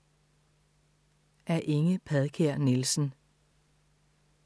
Af Inge Padkær Nielsen